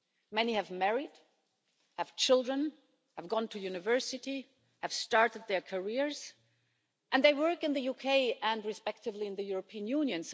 Many have married, have children, have gone to university, have started their careers, and they work in the UK and respectively in the European Union.